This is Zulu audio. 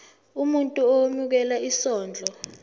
umuntu owemukela isondlo